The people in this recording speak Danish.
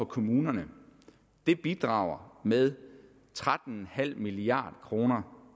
kommunerne bidrager med tretten milliard kroner